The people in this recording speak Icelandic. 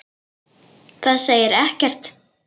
Það segir ekkert sagði hún.